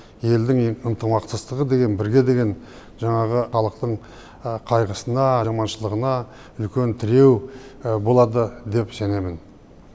елдің ынтымақтастығы деген бірге деген жаңағы халықтың қайғысына аманшылығына үлкен тіреу болады деп сенемін